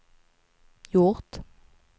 gjort